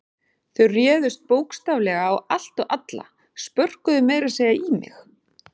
Þau réðust bókstaflega á allt og alla, spörkuðu meira að segja í mig.